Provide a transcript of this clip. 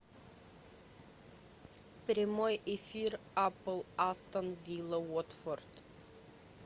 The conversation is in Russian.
прямой эфир апл астон вилла уотфорд